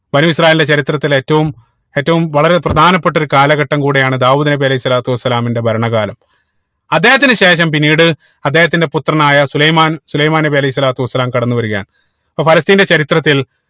ബനൂ ഇസ്രായേൽന്റെ ചരിത്രത്തിൽ ഏറ്റവും ഏറ്റവും വളരെ പ്രധാനപ്പെട്ട ഒരു കാലഘട്ടം കൂടെയാണ് ദാവൂദ് നബി അലൈഹി സ്വലാത്തു വസ്സലാമിന്റെ ഭരണ കാലം അദ്ദേഹത്തിന് ശേഷം പിന്നീട് അദ്ദേഹത്തിന്റെ പുത്രനായ സുലൈമാൻ സുലൈമാൻ നബി അലൈഹി സ്വലാത്തു വസ്സലാം കടന്നു വരികയാണ് അപ്പൊ ഫലസ്‌തീൻ ന്റെ ചരിത്രത്തിൽ